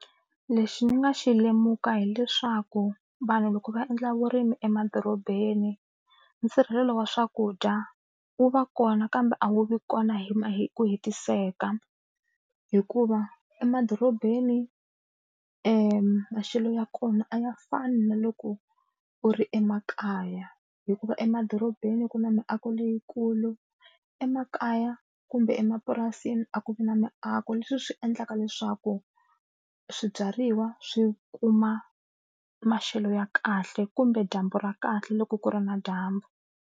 Lexi ni nga xi lemuka hileswaku vanhu loko va endla vurimi emadorobeni nsirhelelo wa swakudya wu va kona kambe a wu vi kona hi hi ku hetiseka hikuva emadorobeni maxelo ya kona a ya fani na loko u ri emakaya hikuva emadorobeni ku na miako leyikulu emakaya kumbe emapurasini a ku vi na miako leswi swi endlaka leswaku swibyariwa swi kuma maxelo ya kahle kumbe dyambu ra kahle loko ku ri na dyambu.